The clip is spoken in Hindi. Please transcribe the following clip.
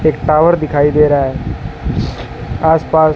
एक टावर दिखाई दे रहा है आसपास--